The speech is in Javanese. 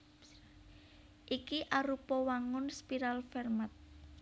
Iki arupa wangun spiral Fermat